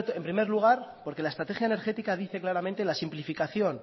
en primer lugar porque la estrategia energética dice claramente la simplificación